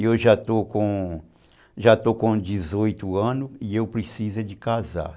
Eu já estou com já estou com dezoito anos e eu preciso casar.